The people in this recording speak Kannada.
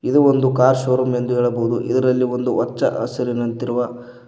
ಇದು ಒಂದು ಕಾರ್ ಶೋರೂಮ್ ಎಂದು ಹೇಳಬಹುದು ಇದರಲ್ಲಿ ಒಂದು ಹಚ್ಚ ಹಸಿರಿನಂತಿರುವ--